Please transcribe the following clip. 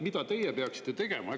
Mida teie peaksite tegema?